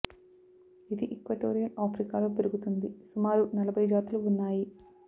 ఇది equatorial Africa లో పెరుగుతుంది సుమారు నలభై జాతులు ఉన్నాయి